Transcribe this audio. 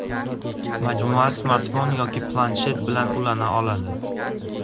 Majmua smartfon yoki planshet bilan ulana oladi.